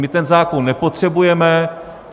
My ten zákon nepotřebujeme.